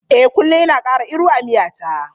Eh kullum ina kara iru a miya ta.